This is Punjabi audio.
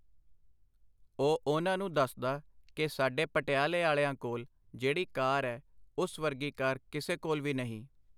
ਉਹ ਉਨ੍ਹਾਂ ਨੂੰ ਦੱਸਦਾ ਕਿ ਸਾਡੇ ਪਟਿਆਲੇ ਆਲਿਆਂ ਕੋਲ ਜਿਹੜੀ ਕਾਰ ਐ ਓਸ ਵਰਗੀ ਕਾਰ ਕਿਸੇ ਕੋਲ ਵੀ ਨਹੀਂ.